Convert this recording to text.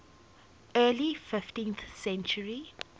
early fifteenth century